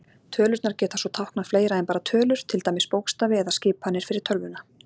Tölurnar geta svo táknað fleira en bara tölur, til dæmis bókstafi eða skipanir fyrir tölvuna.